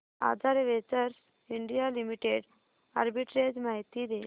आधार ventures India limited arbitrage माहिती दे